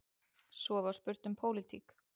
Svo var spurt um pólitík.